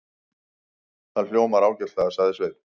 Það hljómar ágætlega, sagði Sveinn.